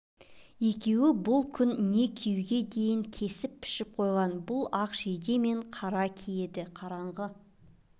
екеуі бұл күн не киюге дейін кесіп-пішіп қойған бұл ақ жейде мен қара киеді қараңғы